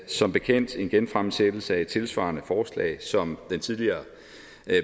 som bekendt en genfremsættelse af et tilsvarende forslag som den tidligere